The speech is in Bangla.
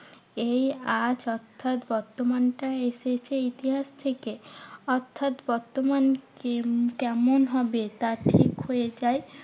এই আজ অর্থাৎ বর্তমানটাই এসেছে ইতিহাস থেকে। অর্থাৎ বর্তমান কে~ কেমন হবে? তা ঠিক হয়ে যায়